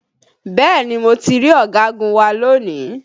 Bẹ́ẹ̀ni mo ti rí ọ̀gagun wa lónìí